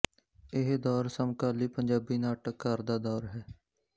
ਇਹ ਦੌਰ ਸਮਕਾਲੀ ਪੰਜਾਬੀ ਨਾਟਕਕਾਰ ਦਾ ਦੌਰ ਹੈ